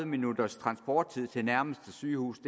minutters transporttid til nærmeste sygehus